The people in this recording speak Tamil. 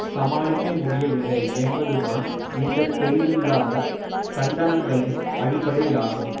சமாளிக்கமுடியவில்லை என்பதுதான் இந்த தெளிவில்லாத கண்டனங்களின் அடிப்படையாகும்